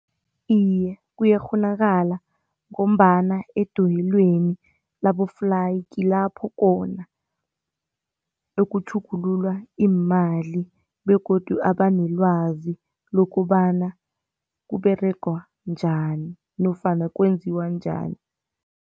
Iye kuyakghonakala, ngombana edoyelweni laboflayi kulapho khona bekutjhugululwa iimali begodu abanelwazi lokobana kuberegwa njani nofana kwenziwa njani.